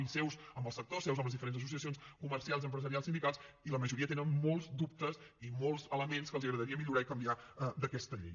i seus amb els actors i amb les diferents associacions comercials empresarials sindicals i la majoria tenen molts dubtes i molts elements que els agradaria millorar i canviar d’aquesta llei